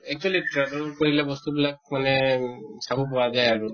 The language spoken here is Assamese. actually travel কৰিলে বস্তু বিলাক মানে চাব পৰা যায় আৰু